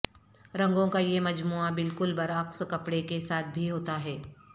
رنگوں کا یہ مجموعہ بالکل برعکس کپڑے کے ساتھ بھی ہوتا ہے